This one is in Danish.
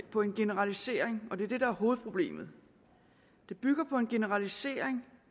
på en generalisering og det er det der er hovedproblemet det bygger på en generalisering